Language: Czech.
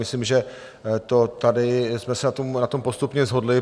Myslím si, že tady jsme se na tom postupně shodli.